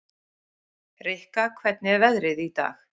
Rikka, hvernig er veðrið í dag?